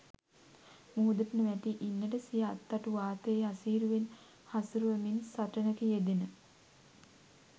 මුහුදට නොවැටී ඉන්නට සිය අත්තටු වාතයේ අසීරුවෙන් හසුරුවමින් සටනක යෙදෙන